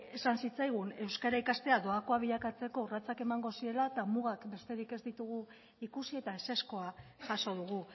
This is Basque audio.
esan zitzaigun euskara ikastea doakoa bilakatzeko urratsak emango zirela eta mugak besterik ez ditugu ikusi eta ezezkoa jaso dugu